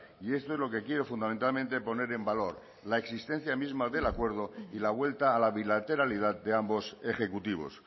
y esto es lo que quiero fundamentalmente poner en valor la existencia misma del acuerdo y la vuelta a la bilateralidad de ambos ejecutivos